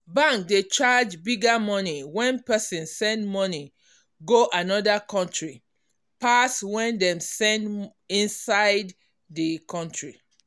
bank dey charge bigger money when person send money go another country pass when dem send um inside the country